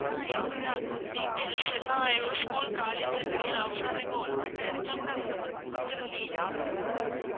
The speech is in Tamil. ஹம் எங்களோட account details எல்லாம் இவ school college க்கு அப்ரோ நான் இப்ப work பன்ற இடத்துல கூட அந்த number தான் குடுத்து இருந்தேன்